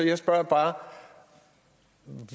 jeg spørger bare